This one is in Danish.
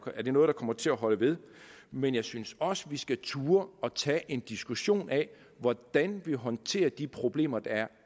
er det noget der kommer til at holde ved men jeg synes også at vi skal turde tage en diskussion af hvordan vi håndterer de problemer der